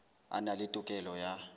a na le tokelo ya